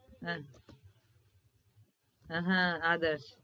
આહ ઉહ આગળ